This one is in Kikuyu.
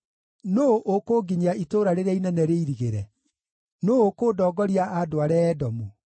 Nũũ ũkũnginyia itũũra rĩrĩa inene rĩirigĩre? Nũũ ũkũndongoria andware Edomu?